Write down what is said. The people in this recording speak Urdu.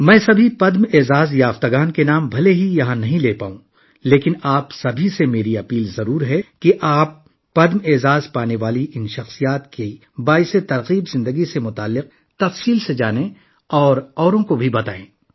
میں یہاں تمام پدم ایوارڈ یافتہ افراد کے نام تو نہیں لے سکتا، لیکن میں آپ سے ضرور گزارش کرتا ہوں کہ ان پدم ایوارڈ یافتہ افراد کی متاثر کن زندگی کے بارے میں تفصیل سے جانیں اور دوسروں کو بھی بتائیں